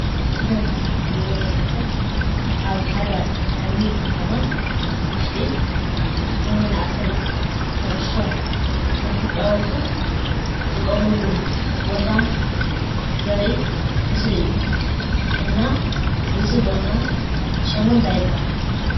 እዚ ኣብ ምስሊ ትሪእይዎ ዘለኹም ኣብ ሓደ ዓብይ ከተማ ውሽጢ ንመናእሰይ ኩዕሶ እናተፃወቱ ዝጥቀምሉ ቦታ ዘርኢ ምስሊ እዩ፡፡ እና እዚ ቦታ ስሙ እንታይ ይባሃል?